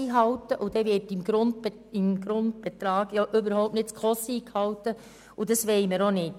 Beim Grundbetrag werden die SKOSRichtlinien überhaupt nicht eingehalten, und dies wollen wir nicht.